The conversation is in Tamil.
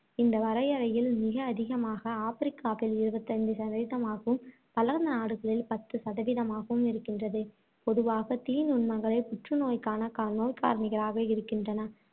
இந்த வரையறையில் மிக அதிகமாக ஆப்பிரிக்காவில் இருபத்தைந்து சதவீதமாகவும், வளர்ந்த நாடுகளில் பத்து சதவீதமாகவும் இருக்கின்றது. பொதுவாக தீநுண்மங்களே புற்றுநோய்க்கான கார~ நோய்க்காரணிகளாக இருக்கின்றன.